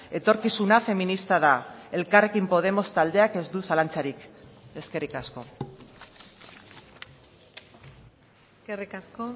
etorkizuna feminista da elkarrekin podemos taldeak ez du zalantzarik eskerrik asko eskerrik asko